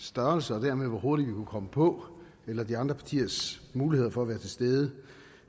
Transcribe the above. størrelse og dermed hvor hurtigt vi kunne komme på eller de andre partiers mulighed for at være til stede